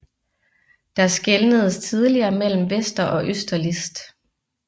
Der skelnedes tidligere mellem Vester og Øster List